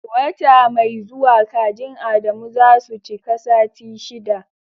Wata mai zuwa kajin Adamu za su cika sati shiɗa.